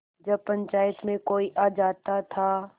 जब पंचायत में कोई आ जाता था